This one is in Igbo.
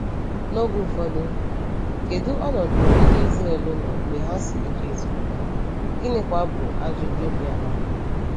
N’oge ụfọdụ, kedu ọnọdụ ndị Ịzrel nọ mgbe ha si Ịjipt pụta, gịnịkwa bụ ajụjụ bịara?